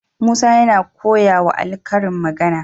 Musa yana koya wa ali karin magAna